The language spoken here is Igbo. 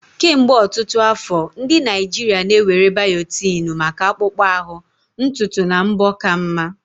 Kemgbe ọtụtụ afọ, ndị Naijiria na-ewere biotini maka akpụkpọ ahụ, ntutu na mbọ ka mma.